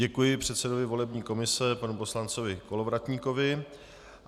Děkuji předsedovi volební komise panu poslanci Kolovratníkovi.